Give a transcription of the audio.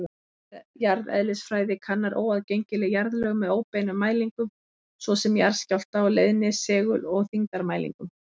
Jarðeðlisfræði kannar óaðgengileg jarðlög með óbeinum mælingum, svo sem jarðskjálfta-, leiðni-, segul- og þyngdarmælingum.